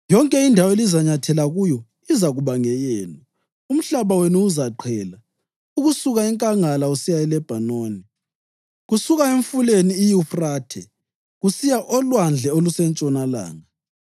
Yonke indawo elizanyathela kuyo izakuba ngeyenu: umhlaba wenu uzaqhela ukusuka enkangala usiya eLebhanoni, kusuka emfuleni iYufrathe kusiya olwandle olusentshonalanga.